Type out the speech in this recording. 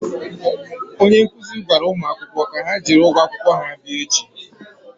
onye nkụzi gwara ụmụakwụkwọ ka ha jiri ụgwọ akwụkwọ ha bịa echi.